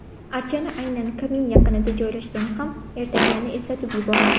Archani aynan kamin yaqinida joylashgani ham ertaklarni eslatib yuboradi.